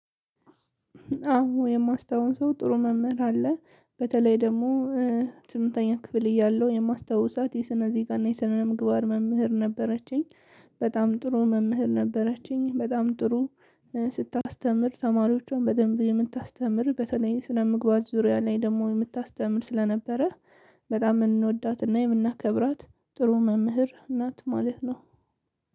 አዎ የማስታውሰው ጥሩ መምህር አለ በተለይ ደግሞ ስምንተኛ ክፍል እያለሁ የማስታውሳት የስነዜጋ እና የስነምግባር መምህር ነበረችኝ። በጣም ጥሩ መምህር ነበረችኝ በጣም ጥሩ። ስታስተምር ተማሪዎቿን በደንብ የምታስተምር በተለይም ስነ-ምግባር ዙሪያ ላይ ደግሞ የምታስተምር ስለነበረ። በጣም የምንወዳት እና የምናከብራት ጥሩ መምህር እናት ማለት ነው።